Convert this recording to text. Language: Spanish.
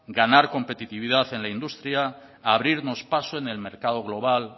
ganar competitividad en la industria abrirnos paso en el mercado global